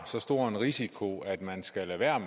så stor en risiko at man skal lade være